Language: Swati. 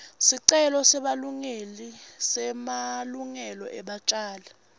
sicelo semalungelo ebatjali